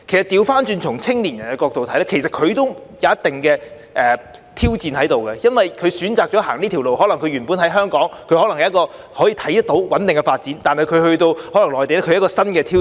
相反從青年人的角度看，其實對他們也存在一定的挑戰，因為他們選擇了走這條路，他們原本在香港可能看到有穩定的發展，但返回內地對他們可能是一個新挑戰。